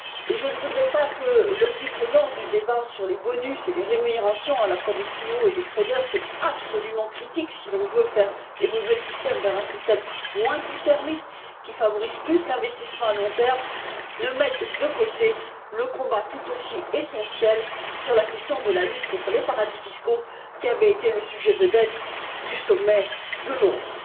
Je ne voudrais pas que l'omniprésence du débat sur les bonus et les rémunérations à la fois des CEO et des traders qui est absolument critique si l'on veut faire évoluer le système vers un système moins à court terme qui favorise plus l'investissement à long terme ne mette de côté le combat, tout aussi essentiel, sur la question de la lutte contre les paradis fiscaux, qui avait été le sujet vedette du sommet de Londres.